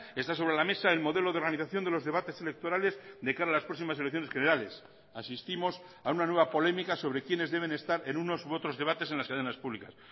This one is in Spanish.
está sobre la mesa el modelo de organización de los debates electorales de cara a las próximas elecciones generales asistimos a una nueva polémica sobre quiénes deben estar en unos u otros debates en las cadenas públicas